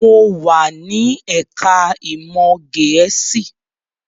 Mo wà ní ẹ̀ká ìmọ̀ Gẹ̀ẹ́sì